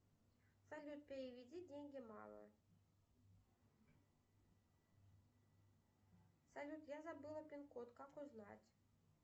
салют переведи деньги маме салют я забыла пин код как узнать